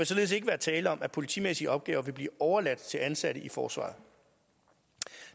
således ikke være tale om at politimæssige opgaver vil blive overladt til ansatte i forsvaret